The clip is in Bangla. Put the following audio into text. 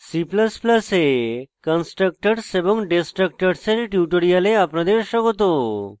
c ++ এ constructors এবং destructors এর tutorial আপনাদের স্বাগত